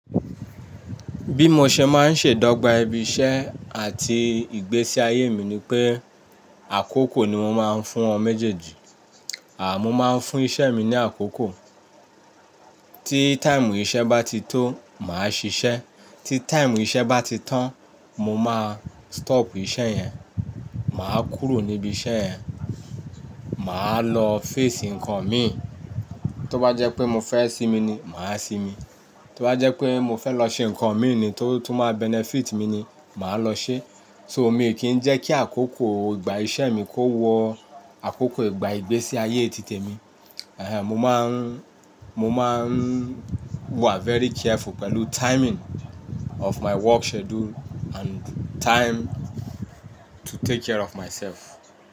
Bí mo ṣe máa ń ṣe dọ́gba ibi iṣẹ́ àti ìgbésí ayé mi ni pé àkókò ni mo máa ń fún wọn méjèèjì. À mo máa ń fún iṣẹ́ mi ní àkókò, tí táìmù iṣẹ́ bá ti tó, màá ṣiṣẹ́, tí táìmù iṣẹ́ bá ti tán, mo máa stop iṣẹ́ yẹn, màá kúrò níbi iṣẹ́ yẹn, màá lọ fésì ǹkan mi. Tó bá jẹ́ pé mo fẹ́ sinmi ni, màá sinmi, tó bá jẹ́ pé mo fẹ́ lọ ṣe ǹkan mi ni tó, tó máa benefit mi ni, màá lọ ṣe. So mi ò kí ń jẹ́ kí àkókò ìgbà iṣẹ́ mi kó wọ àkókò ìgbà ìgbésí ayé títè mi. Mo máa ń, mo máa ń wa very careful pẹ̀lú timing of my work schedule and time to take care of myself.